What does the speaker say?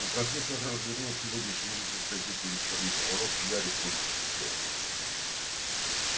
но профессор развернул сегодняшний выпуск газеты вечерний пророк и гарри понял в чем дело